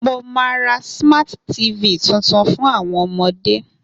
Mo ma ra Smart TV tuntun fun àwọn ọmọde.